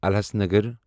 الَحسَنگر